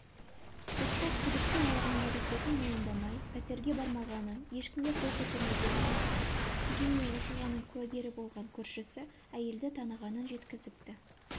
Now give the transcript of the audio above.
сотта күдікті өзінің әрекетін мойындамай пәтерге бармағанын ешкімге қол көтермегенін айтқан дегенмен оқиғаның куәгері болған көршісі әйелді танығанын жеткізіпті